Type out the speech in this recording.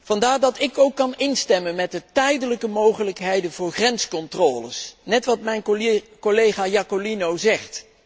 Vandaar dat ik ook kan instemmen met tijdelijke mogelijkheden voor grenscontroles, zoals mijn collega Iacolino zegt.